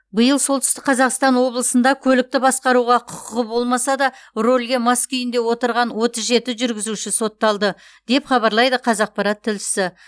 биыл солтүстік қазақстан облысында көлікті басқаруға құқығы болмаса да рөлге мас күйінде отырған отыз жеті жүргізуші сотталды деп хабарлайды қазақпарат тілшісі